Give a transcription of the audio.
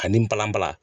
Ani balanbala